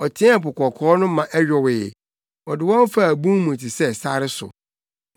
Ɔteɛɛ Po Kɔkɔɔ no ma ɛyowee; ɔde wɔn faa bun mu te sɛ sare so.